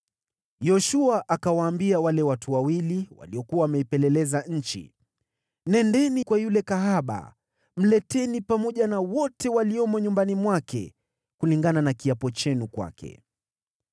Yoshua akawaambia wale watu wawili waliokuwa wameipeleleza nchi, “Nendeni nyumbani kwa yule kahaba, mleteni pamoja na wote waliomo nyumbani mwake, kulingana na kiapo chenu kwake.”